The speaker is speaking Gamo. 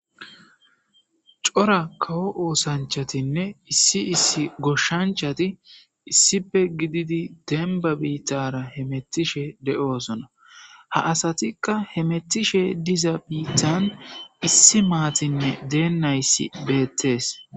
Cora kawo oosanchatinne issi issi goshshanchati issipe gididi denba biittara he mettishe de7oosona ha asatikka he mettishe diza biithan issi maatinne deennayssi beettees.